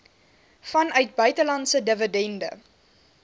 vanuit buitelandse dividende